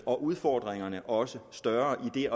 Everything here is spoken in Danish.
og udfordringerne også større i